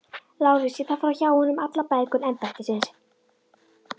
LÁRUS: Ég þarf að fá hjá honum allar bækur embættisins.